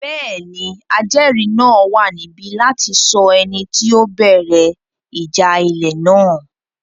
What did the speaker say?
Bẹ́ẹ̀ni, ajẹ́ẹ̀rí náà wà níbí láti sọ ẹni tí ó bẹ̀rẹ̀ ìjà ilẹ̀ náà